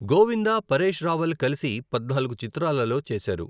గోవిందా, పరేష్ రావల్ కలిసి పద్నాలుగు చిత్రాలలో చేశారు.